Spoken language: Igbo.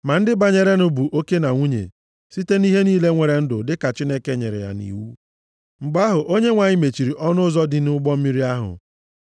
Ma ndị banyerenụ bụ oke na nwunye, site na ihe niile nwere ndụ dịka Chineke nyere ya nʼiwu. Mgbe ahụ, Onyenwe anyị mechiri ọnụ ụzọ dị nʼụgbọ mmiri ahụ.